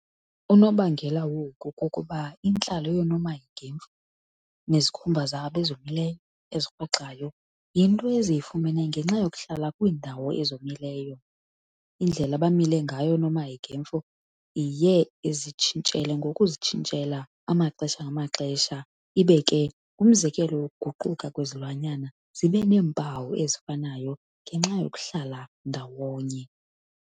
Unobangela woku kukuba intlalo yoonomanhekemfu, nezikhumba zabo ezomileyo, ezirhwexayo, yinto eziyifumene ngenxa yokuhlala kwiindawo ezomileyo. Indlela abamile ngayo oonomanhekemfu iye izitshintshela ngokuzitshintshela amaxesha-ngamaxesha, ibe ke ngumzekelo wokuguquka kwezilwanyana zibeneempawu ezifanayo ngenxa yokuhlala ndawonye.